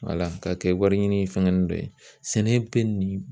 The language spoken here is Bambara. ka kɛ wari ɲini fɛngɛ nunnu dɔ ye, sɛnɛ bɛ nin